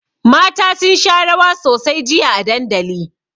Mata sun sha rawa sosai jiya a dandali.